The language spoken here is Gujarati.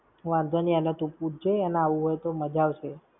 વાંધો ની, એને તું પૂછ જે. એને આવવું હોય તો મજા આવશે.